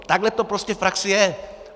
Takhle to prostě v praxi je.